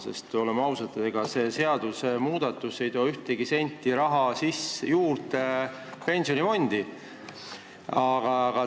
Samas oleme ausad, see seadusmuudatus ei too ühtegi senti raha pensionifondi juurde.